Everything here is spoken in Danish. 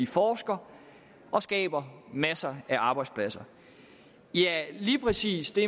forsker og skaber masser af arbejdspladser lige præcis det